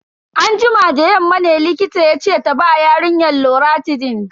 Anjima da yamma ne likita yace ta ba yarinyar loratidine.